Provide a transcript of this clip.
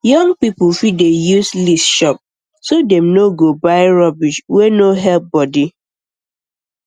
young people fit dey use list shop so dem no um go buy rubbish wey no help body um